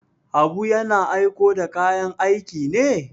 Habu yana aiko da kayan aiki ne?